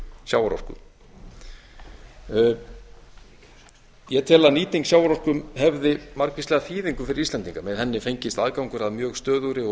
sjávarorku ég tel að nýting sjávarorku hefði margvíslega þýðingu fyrri íslendinga með henni fengist aðgangur að mjög stöðugri og